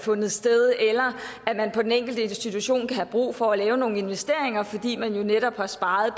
man på den enkelte institution kan have brug for at lave nogle investeringer fordi man jo netop har sparet